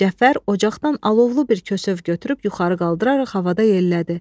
Cəfər ocaqdan alovlu bir kösöv götürüb yuxarı qaldıraraq havada yellədi.